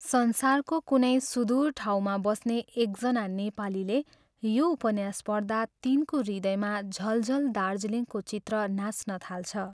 संसारको कुनै सुदूर ठाउँमा बस्ने एकजना नेपालीले यो उपन्यास पढ्दा तिनको हृदयमा झलझल दार्जिलिङको चित्र नाच्न थाल्छ।